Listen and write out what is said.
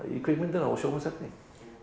í kvikmyndirnar og sjónvarpsefni